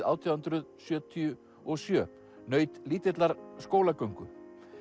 átján hundruð sjötíu og sjö naut lítillar skólagöngu